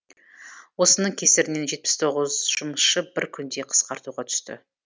осының кесірінен жетпіс тоғыз жұмысшы бір күнде қысқартуға түсті